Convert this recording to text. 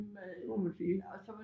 Det må man sige